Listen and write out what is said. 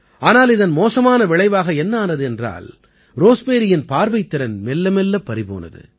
ஆனால் இதன் மோசமான விளைவாக என்ன ஆனது என்றால் ரோஸ்மேரியின் பார்வைத் திறன் மெல்ல மெல்ல பறிபோனது